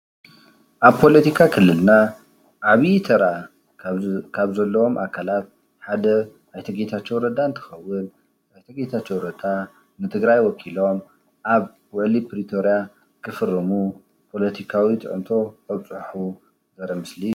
ኣብ ፖለቲካ ክልልና ዓብዪ ተራ ካብ ዘለዎም ኣካላት ሓደ ኣይተ ጌታቸው ረዳ እንትኸዉን ኣይተ ጌታቸው ረዳ ንትግራይ ወኪሎም ኣብ ዉዕሊ ፕሪቶሪያ ክፍርሙ ፖለቲካዊ ፅዕንቶ ከብፅሑ ዘርኢ ምስሊ እዩ።